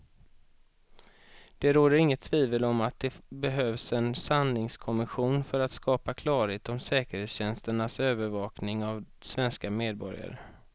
Det råder inget tvivel om att det behövs en sanningskommission för att skapa klarhet om säkerhetstjänsternas övervakning av svenska medborgare.